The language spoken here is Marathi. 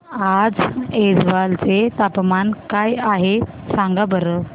आज ऐझवाल चे तापमान काय आहे सांगा बरं